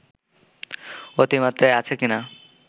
অতিমাত্রায় আছে কি না